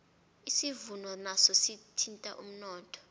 isivuno naso sithinta umnotho